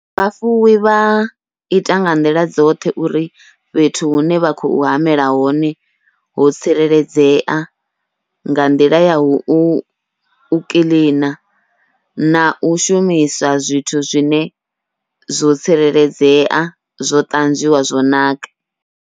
Vhafuwi vha ita nga nḓila dzoṱhe uri fhethu hune vha khou hamela hone ho tsireledzea nga nḓila yau kiḽina, nau shumiswa zwithu zwine zwo tsireledzea zwo ṱanzwiwa zwo naka.